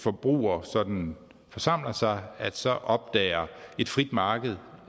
forbrugere sådan forsamler sig så opdager et frit marked